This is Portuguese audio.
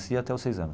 E até o seis anos.